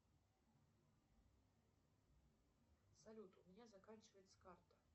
салют у меня заканчивается карта